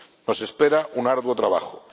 No espera un arduo trabajo.